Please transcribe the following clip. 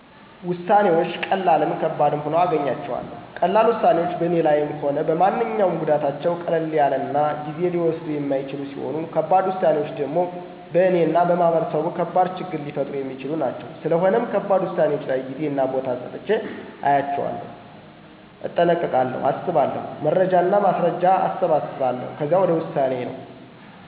ውሳነወች ቀላልም ከባድም ሁኖ አገኘዋለሁ። ቀላል ውሳኔወች በኔ ላይም ሆነ በማንኛውም ጎዳታቸው ቀለል ያለናጊዜ ሊወስዱየ የማይችሉ ሲሆኑ ከባድ ውሳኔወች ደሞ በእነ እና በማህበረሰቡ ከባድ ችግር ሊፈጥሩ የሚችሉ ናቸው። ስለሆነም ከባድ ውሳኔወች ላይ ጌዜና ቦታ ሰጥቸ አያቸዋለሁ። እጠነቀቃለሁ አስባለሁ። መረጃና ማስረጃ አሰባስባለሁ ከዛ ወደ ውሳኔ ነው። ለምሳሌ በትምህርት ላይ እያለሁ አስርን ጨረሸ ወደ አስራ አንድ በምገባበት ጊዜ ለውሳኔ ተቸግሬ ነበር። ማህበራዊ ሳንስ ወይስ ተፈጥሮአዊ ሳንስ ላጥና በሚል። ከዛ የተለያዩ ሰወችን ጠየቅሁ እራሴን በደንብ አዳመጥሁና ማህበራዊ ሳይንስ ገባሁ። እንግዜ ተፈጥሯአዊ ሳንስ ገብቸ ቢሆን ኑሮ የለ መክሊቴ ወይም ምፈልገውን ሙያ አላገኝም ነበር። ስለዚህ ውሳኔ ላይ በጣም ጥንቃቄ የሞላበት እንዲሆን እኔ በግሌ እመክራለሁ